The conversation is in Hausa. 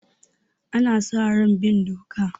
Ana sa ran bin doka.